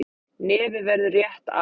Nefið verður rétt af.